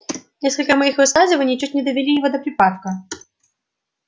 несколько моих высказываний чуть не довели его до припадка